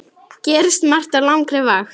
Gerist margt á langri vakt.